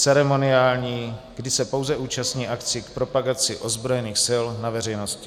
ceremoniální - kdy se pouze účastní akcí k propagaci ozbrojených sil na veřejnosti.